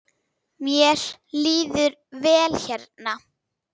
Mér líður vel hérna.